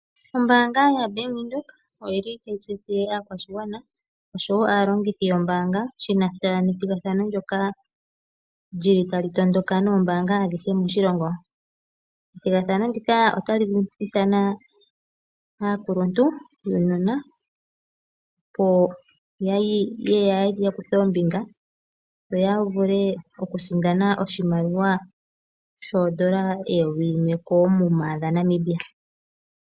Ombaanga yaBank Windhoek otayi tseyithile aakwashigwana noshowo aalongithi yombaanga shi na sha nethigathano ndyoka tali tondoka noombaanga adhihe moshilongo. Ethigathano ndika otali ithana aakuluntu yuunona, opo ya kuthe ombinga yo ya vule okusindana oshimaliwa N$ 1000 koomuma.